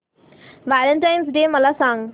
Valentine's Day मला सांग